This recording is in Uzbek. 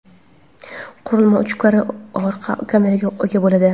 qurilma uch karra orqa kameraga ega bo‘ladi.